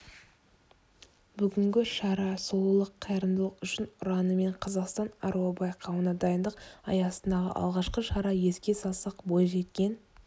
бүгінгі шара сұлулық қайырымдылық үшін ұранымен қазақстан аруы байқауына дайындық аясындағы алғашқы шара еске салсақ бойжеткен